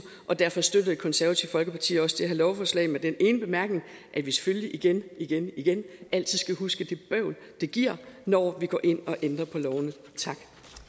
derfor støtter det konservative folkeparti også det her lovforslag med den ene bemærkning at vi selvfølgelig igen igen igen altid skal huske det bøvl det giver når vi går ind og ændrer på lovene tak